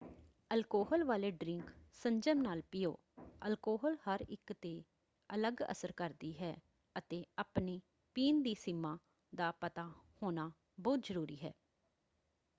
Alcohol ਵਾਲੇ drink ਸੰਜਮ ਨਾਲ ਪੀਓ। ਅਲਕੋਹਲ ਹਰ ਇੱਕ ‘ਤੇ ਅਲੱਗ ਅਸਰ ਕਰਦੀ ਹੈ ਅਤੇ ਆਪਣੀ ਪੀਣ ਦੀ ਸੀਮਾ ਦਾ ਪਤਾ ਹੋਣਾ ਬਹੁਤ ਜ਼ਰੂਰੀ ਹੈ।